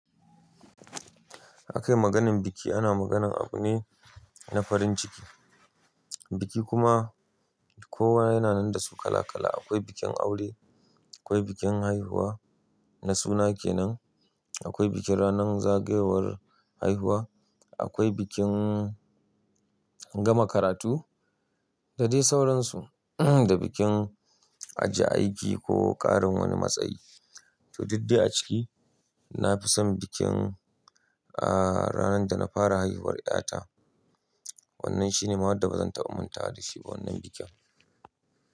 Akayi maganin biki ana maganan abu ne na farin ciki, biki kuma kowa yana nan da su kala kala. Akwai bikin aure, akwai bikin haihuwa na suna kenan, akwai bikin ranan zagayowar haihuwa, akwai bikin gama karatu dadai sauransu, da bikin ajiye aiki ko ƙarin wani matsayi. To duk dai a ciki nafi son bikin ranan da na fara haihuwar ƴata. Wannan shine mahada bazan taɓa mantawa dashi ba wannan bikin.